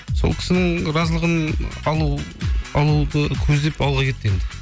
сол кісінің разылығын алуды көздеп ауылға кетті енді